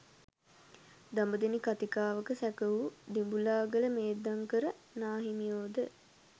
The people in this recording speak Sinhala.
දඹදෙණි කථිකාවත සැකසු දිඹුලාගල මේධංකර නා හිමියෝද